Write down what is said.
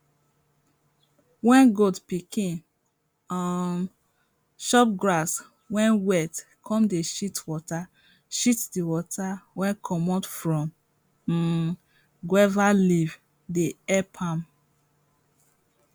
wen goat pikin um chop grass wey wet come dey shit water shit di water wey commot from um guave leaf dey epp am